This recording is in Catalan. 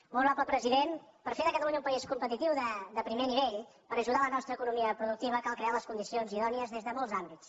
molt honorable president per fer de catalunya un país competitiu de primer nivell per ajudar la nostra economia productiva cal crear les condicions idònies des de molts àmbits